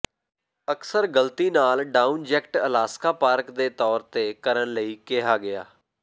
ਅਕਸਰ ਗਲਤੀ ਨਾਲ ਡਾਊਨ ਜੈਕਟ ਅਲਾਸਕਾ ਪਾਰਕ ਦੇ ਤੌਰ ਤੇ ਕਰਨ ਲਈ ਕਿਹਾ ਗਿਆ